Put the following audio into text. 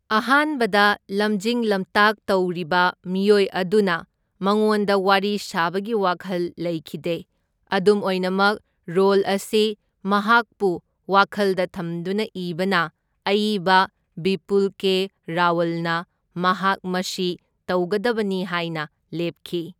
ꯑꯍꯥꯟꯕꯗ ꯂꯝꯖꯤꯡ ꯂꯝꯇꯥꯛ ꯇꯧꯔꯤꯕ ꯃꯤꯑꯣꯏ ꯑꯗꯨꯅ ꯃꯉꯣꯟꯗ ꯋꯥꯔꯤ ꯁꯥꯕꯒꯤ ꯋꯥꯈꯜ ꯂꯩꯈꯤꯗꯦ, ꯑꯗꯨꯝ ꯑꯣꯏꯅꯃꯛ ꯔꯣꯜ ꯑꯁꯤ ꯃꯍꯥꯛꯄꯨ ꯋꯥꯈꯜꯗ ꯊꯝꯗꯨꯅ ꯏꯕꯅ ꯑꯏꯕ ꯕꯤꯄꯨꯜ ꯀꯦ ꯔꯥꯋꯜꯅ ꯃꯍꯥꯛ ꯃꯁꯤ ꯇꯧꯒꯗꯕꯅꯤ ꯍꯥꯏꯅ ꯂꯦꯞꯈꯤ꯫